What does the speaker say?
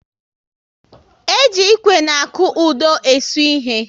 E ji Ịkwe na akụodo e su ịhe